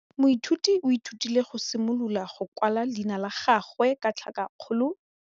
Moithuti o ithutile go simolola go kwala leina la gagwe ka tlhakakgolo.